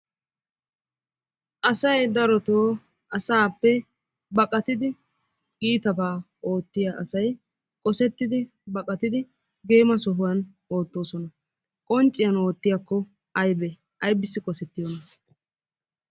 Asay darotoo asaappe baqqayidi iitabaa ootiya asay qosettidi baqqattidi geema sohuwan oottoosona. Qoncciyan oottiyakko aybee aybbissi qossettiyona?